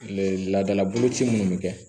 laadala boloci minnu bɛ kɛ